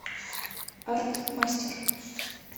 артмастер